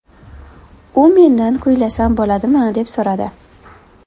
U mendan kuylasam bo‘ladimi, deb so‘radi.